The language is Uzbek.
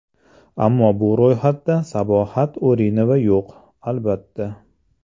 Ammo bu ro‘yxatda Sabohat Urinova yo‘q, albatta.